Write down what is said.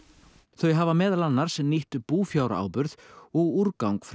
þau hafa meðal annars nýtt búfjáráburð og úrgang frá